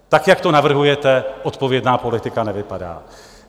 Tak, jak to navrhujete, odpovědná politika nevypadá.